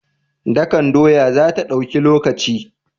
Dakan doya zata dauki lokaci?